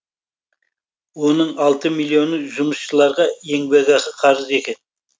оның алты миллионы жұмысшыларға еңбекақы қарызы екен